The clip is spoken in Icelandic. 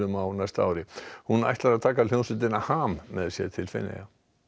á næsta ári hún ætlar að taka hljómsveitina HAM með sér til Feneyja